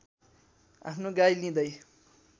आफ्नो गाई लिँदै